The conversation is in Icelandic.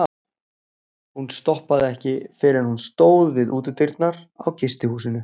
Hún stoppaði ekki fyrr en hún stóð við útidyrnar á gistihúsinu.